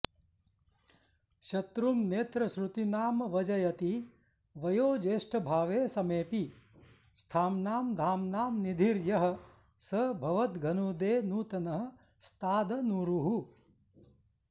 शत्रुं नेत्रश्रुतीनामवजयति वयोज्येष्ठभावे समेऽपि स्थाम्नां धाम्नां निधिर्यः स भवदघनुदे नूतनः स्तादनूरुः